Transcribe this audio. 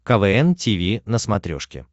квн тиви на смотрешке